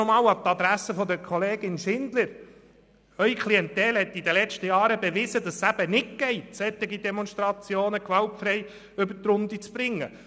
Noch einmal an die Adresse der Kollegin Schindler: Ihre Klientel hat in den letzten Jahren bewiesen, dass es eben nicht möglich ist, solche Demonstrationen gewaltfrei über die Bühne zu bringen.